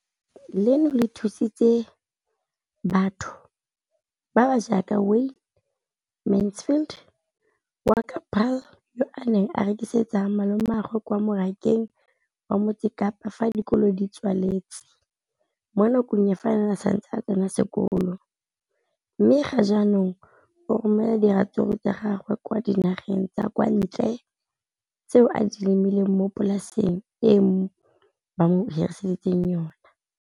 leno le thusitse batho ba ba jaaka Wayne Mansfield, 33, wa kwa Paarl, yo a neng a rekisetsa malomagwe kwa Marakeng wa Motsekapa fa dikolo di tswaletse, mo nakong ya fa a ne a santse a tsena sekolo, mme ga jaanong o romela diratsuru tsa gagwe kwa dinageng tsa kwa ntle tseo a di lemileng mo polaseng eo ba mo hiriseditseng yona.